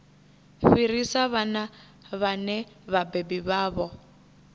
fhirisa vhana vhane vhabebi vhavho